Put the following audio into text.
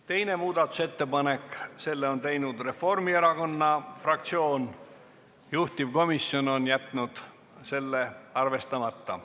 Teine muudatusettepanek, selle on teinud Reformierakonna fraktsioon, juhtivkomisjon on jätnud selle arvestamata.